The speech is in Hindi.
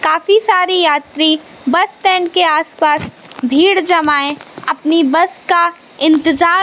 काफी सारी यात्री बस स्टैंड के आसपास भीड़ जमाए अपनी बस का इंतजार--